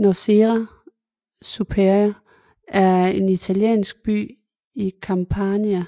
Nocera Superiore er en italiensk by i Campania